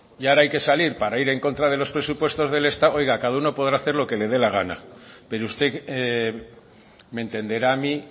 y ahora que hay que salir para ir en contra de los presupuestos del estado oiga cada uno podrá hacer lo que le dé le gana pero usted me entenderá a mí